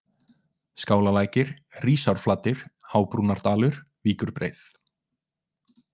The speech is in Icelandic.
Skálalækir, Hrísárflatir, Hábrúnardalur, Víkurbreið